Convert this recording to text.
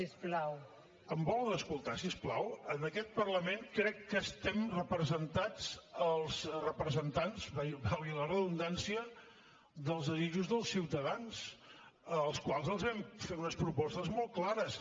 em volen escoltar si us plau en aquest parlament crec que estem representats els representants valgui la redundància dels desitjos dels ciutadans als quals els hem fet unes propostes molt clares